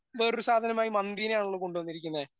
വേറൊരു സാധനമായി മന്തിനെ ആണല്ലോ കൊണ്ടുവന്നിരിക്കുന്നെ